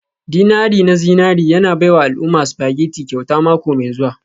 dinari na zinari yana baiwa al'umma spaghetti kyauta mako mai zuwa.